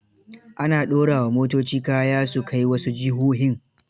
Ana ɗora wa motoci kaya su kai wasu jihohin.